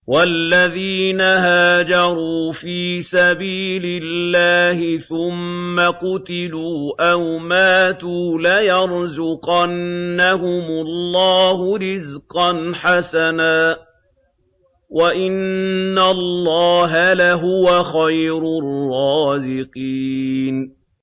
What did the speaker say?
وَالَّذِينَ هَاجَرُوا فِي سَبِيلِ اللَّهِ ثُمَّ قُتِلُوا أَوْ مَاتُوا لَيَرْزُقَنَّهُمُ اللَّهُ رِزْقًا حَسَنًا ۚ وَإِنَّ اللَّهَ لَهُوَ خَيْرُ الرَّازِقِينَ